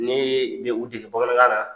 Ne bɛ u dege bamanankan na.